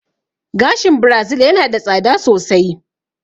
Gashin Birazil yana da tsada sosai